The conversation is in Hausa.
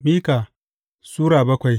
Mika Sura bakwai